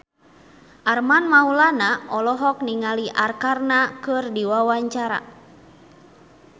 Armand Maulana olohok ningali Arkarna keur diwawancara